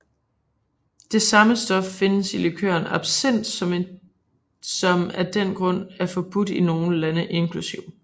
Det samme stof findes i likøren absinth som af den grund er forbudt i nogle lande inkl